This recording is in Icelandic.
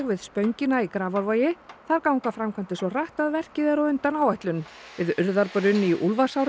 við spöngina í Grafarvogi þar ganga framkvæmdir svo hratt að verkið er á undan áætlun við Urðarbrunn í